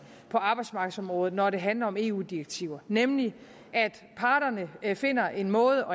på arbejdsmarkedsområdet når det handler om eu direktiver nemlig ved at parterne finder en måde